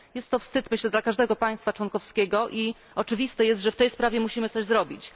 Jest to wstyd dla każdego państwa członkowskiego i oczywiste jest, że w tej sprawie musimy coś zrobić.